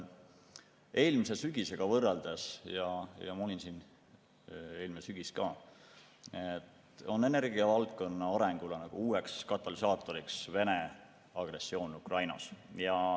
Eelmise sügisega võrreldes – ma olin siin eelmine sügis ka – on energiavaldkonna arengule uueks katalüsaatoriks Venemaa agressioon Ukrainas.